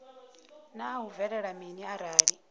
naa hu bvelela mini arali